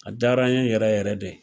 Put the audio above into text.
A diyara n ye yɛrɛ yɛrɛ de.